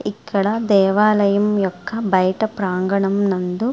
ఇక్కడ దేవాలయం యొక్క బయట ప్రాంగణం నందు --